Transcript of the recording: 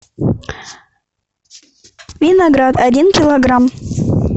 виноград один килограмм